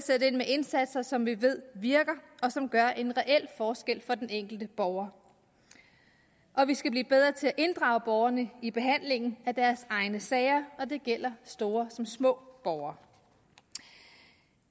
indsatser som vi ved virker og som gør en reel forskel for den enkelte borger og vi skal blive bedre til at inddrage borgerne i behandlingen af deres egne sager og det gælder store som små borgere